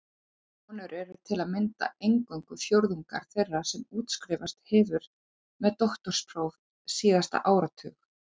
Konur eru til að mynda eingöngu fjórðungur þeirra sem útskrifast hefur með doktorspróf síðasta áratug.